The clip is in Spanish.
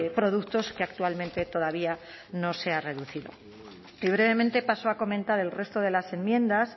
productos que actualmente todavía no se ha reducido y brevemente paso a comentar el resto de las enmiendas